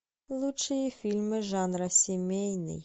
лучшие фильмы жанра семейный